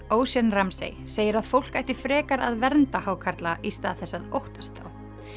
Ocean segir að fólk ætti frekar að vernda hákarla í stað þess að óttast þá